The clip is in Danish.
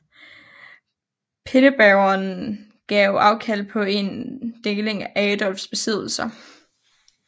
Pinnebergerne gav afkald på en deling af Adolfs besiddelser